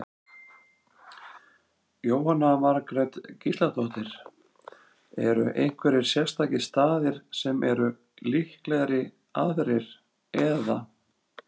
Jóhanna Margrét Gísladóttir: Eru einhverjir sérstakir staðir sem eru líklegri aðrir, eða?